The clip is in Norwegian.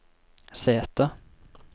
sete